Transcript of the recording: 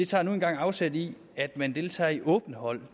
tager nu engang afsæt i at man deltager i åbne hold